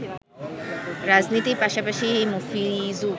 রাজনীতির পাশাপাশি মফিজু